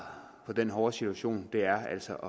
på den hårde situation er altså